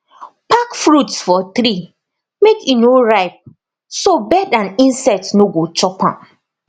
pack fruits for tree make e no ripe so bird and insect no go chop am